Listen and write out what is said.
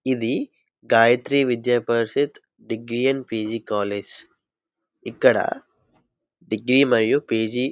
ఇది Gayatri Vidya Parishad degree and PG college. ఇక్కడ degree మరియు పీజీ--